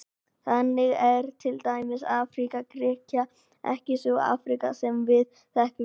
Þannig er til dæmis Afríka Grikkja ekki sú Afríka sem við þekkjum í dag.